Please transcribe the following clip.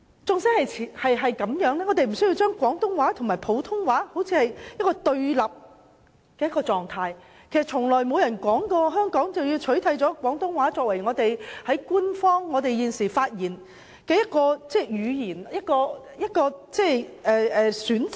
儘管如此，我們無須把廣東話和普通話置於對立狀態，事實上亦不曾有人表示要取締廣東話作為我們發言時的一個語言選擇。